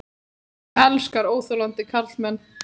Hún elskar óþolandi karlmenn.